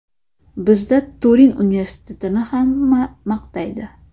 Bizda Turin universitetini hamma maqtaydi.